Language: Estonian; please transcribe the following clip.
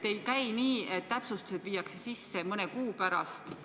Ei käi nii, et täpsustused viiakse protokolli mõne kuu pärast.